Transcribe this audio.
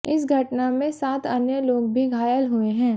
इस घटना में सात अन्य लोग भी घायल हुए हैं